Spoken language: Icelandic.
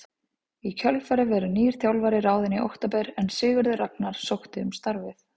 Í kjölfarið verður nýr þjálfari ráðinn í október en Sigurður Ragnar sótti um starfið.